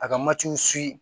A ka matiw